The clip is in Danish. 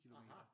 Aha